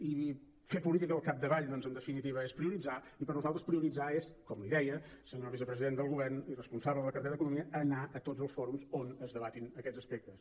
i fer política al capdavall doncs en definitiva és prioritzar i per nosaltres prioritzar és com li deia senyor vicepresident del govern i responsable de la cartera d’economia anar a tots els fòrums on es debatin aquests aspectes